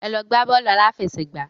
Ẹ lọ gbá bọ́ọ̀lù aláfẹsẹ̀gbá.